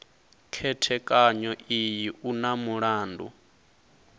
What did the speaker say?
khethekanyo iyi u na mulandu